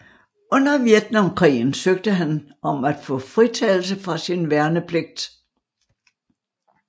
Under Vietnamkrigen søgte han om at få fritagelse fra sin værnepligt